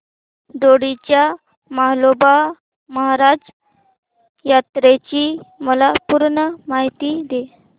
दोडी च्या म्हाळोबा महाराज यात्रेची मला पूर्ण माहिती दे